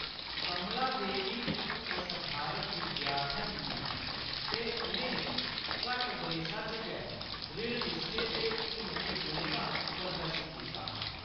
कमलादेवी इक असधारण विद्यार्थन हियां ते उʼनें घट्ट बरेसा च गै दृढ़ निश्चय ते हिम्मती गुणें दा प्रदर्शन कीता हा।